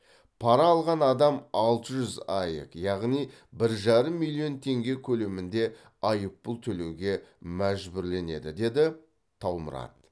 пара алған адам алты жүз аек яғни бір жарым миллион теңге көлемінде айыппұл төлеуге мәжбүрленеді деді таумұрат